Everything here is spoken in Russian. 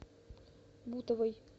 бутовой